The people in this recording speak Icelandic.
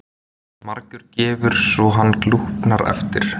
Margur gefur svo hann glúpnar eftir.